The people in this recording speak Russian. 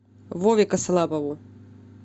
вове косолапову